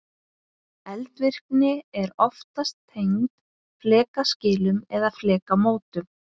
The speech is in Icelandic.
eldvirkni er oftast tengd flekaskilum eða flekamótum